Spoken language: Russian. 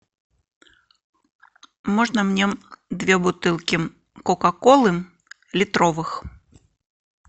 можно мне две бутылки кока колы литровых